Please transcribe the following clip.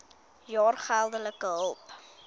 jaar geldelike hulp